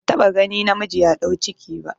Ban taɓa gani namiji ya ɗau ciki ba